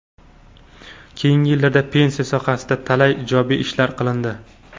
Keyingi yillarda pensiya sohasida talay ijobiy ishlar qilindi.